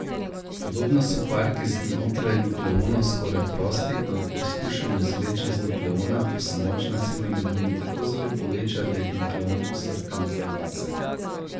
Podobno so kvarki znotraj nukleonov skoraj prosti, ko jih poskušamo izvleči iz nukleona, pa se močna sila med njimi tako zelo poveča, da jih nukleon posrka nazaj vase.